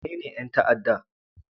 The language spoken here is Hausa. Wanene 'yan ta'adda?